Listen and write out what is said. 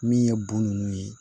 Min ye bon nunnu ye